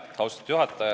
Austatud juhataja!